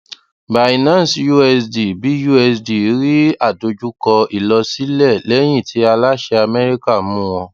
binance usd busd rí àdojúkọ ìlọsílẹ lẹyìn tí aláṣẹ amẹríkà mú wọn